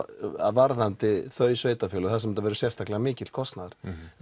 varðandi þau sveitafélög þar sem þetta verður sérstaklega mikill kostnaður